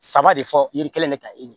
Saba de fɔ yiri kelen de ta ye